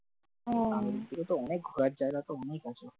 তামিলের দিকে তো অনেক ঘোরার জায়গায়তো অনেক আছে